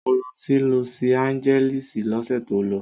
Mo lọ sí Lọsi Áńgẹ́lísì lọ́sẹ̀ tó lọ.